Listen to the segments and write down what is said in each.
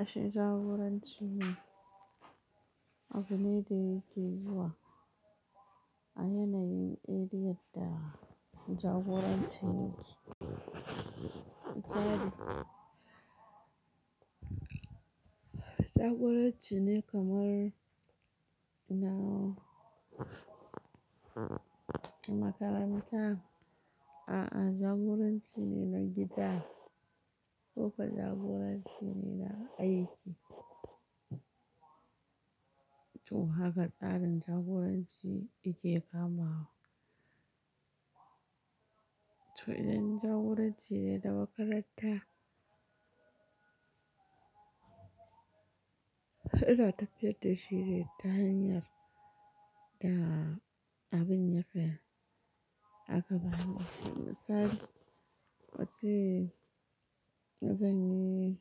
Ashe jagoranci ne abiu ne da yake zuwa a yanayin irin yadda jagoranci yake. Misali, jagoranci ne kamar na makaranta, a'a jagoranci ne na gida ko ka jagoranci ne na aiki. To haka tsarin jagoranci yake kamawa. To idan jagoranci ne na makaranta, ita tafiyar da shi ne ta hanyar da abin ya fi a ka ba ni. Misali, a ce zan yi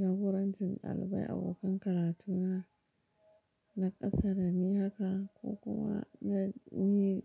jagorancin ɗalibai abokan karatuna na ƙasa da, ni haka ko kuwa na yi.